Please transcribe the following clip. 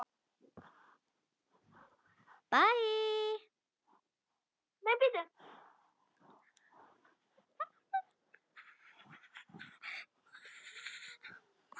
Jóhann var ekki lengur reiður.